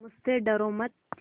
मुझसे डरो मत